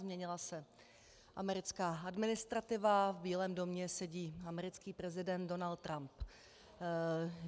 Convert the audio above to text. Změnila se americká administrativa, v Bílém domě sedí americký prezident Donald Trump.